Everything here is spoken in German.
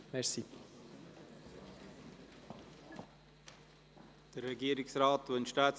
Wünscht der Regierungsrat das Wort?